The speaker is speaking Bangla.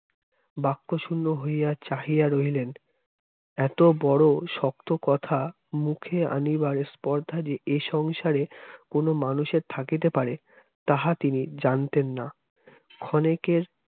বাক্যশূন্য হইয়া চাহিয়া রইলেন এত বড় শক্ত কথা মুখে আনিবার স্পর্ধা যে এই সংসারে কোন মানুষের থাকেতে পারে তাহা তিনি জানতেন না ক্ষণেকের